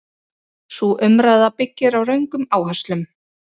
Sú umræða byggir á röngum áherslum.